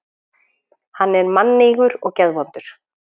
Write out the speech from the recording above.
Hann er mannýgur og geðvondur.